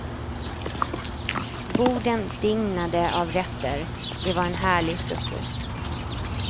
Borden dignade av rätter, det var en härlig frukost.